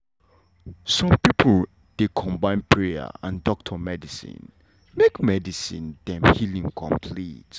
some pipo dey combine prayer and doctor medicine make medicine make dem healing complete.